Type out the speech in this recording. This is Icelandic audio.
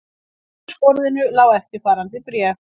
Á eldhúsborðinu lá eftirfarandi bréf